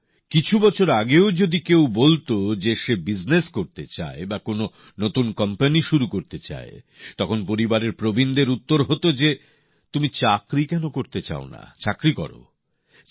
বন্ধুরা কিছু বছর আগেও যদি কেউ বলত যে সে ব্যবসা করতে চায় বা কোন নতুন কোম্পানি শুরু করতে চায় তখন পরিবারের প্রবীণদের উত্তর হতে যে তুমি চাকরি কেন করতে চাও না চাকরি করো